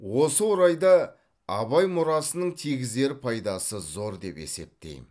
осы орайда абай мұрасының тигізер пайдасы зор деп есептеймін